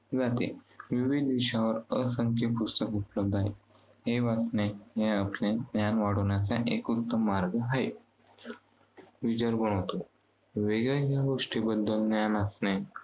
जाते. विविध विषयांवर असंख्य पुस्तके उपलब्ध आहेत. हे वाचणे, हे आपले ज्ञान वाढवण्यासाठी एकुलता मार्ग आहे. विचार बळावतो. वेगवेगळ्या गोष्टींबद्दल ज्ञान असणे